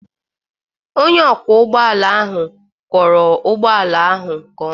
Onye ọkwọ ụgbọ ala ahụ kwọọrọ ụgbọala ahụ nke ọma.